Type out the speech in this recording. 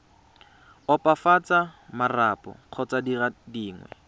opafatsa marapo kgotsa dire dingwe